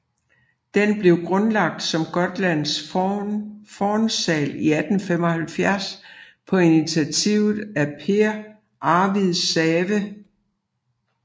Den blev grundlagt som Gotlands Fornsal i 1875 på initiativ af Pehr Arvid Säve